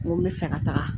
N ko n bɛ fɛ ka taga